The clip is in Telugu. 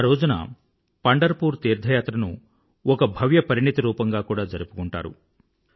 ఆ రోజున పండర్ పూర్ తీర్థయాత్రను ఒక భవ్య పరిణితి రూపంగా కూడా జరుపుకుంటారు